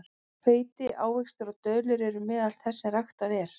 Hveiti, ávextir og döðlur eru meðal þess sem ræktað er.